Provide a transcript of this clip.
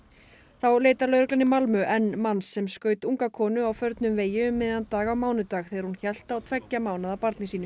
þá leitar lögreglan í Malmö enn manns sem skaut unga konu á förnum vegi um miðjan dag á mánudag þegar hún hélt á tveggja mánaða barni sínu